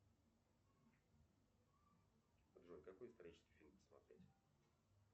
джой какой исторический фильм посмотреть